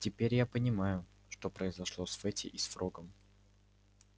теперь я понимаю что произошло с фэтти и с фрогом